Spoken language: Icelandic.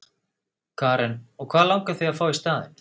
Karen: Og hvað langar þig að fá í staðinn?